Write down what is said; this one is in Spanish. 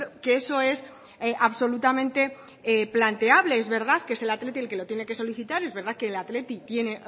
que eso es absolutamente planteable es verdad que es el athletic el que lo tiene que solicitar es verdad que el athletic tiene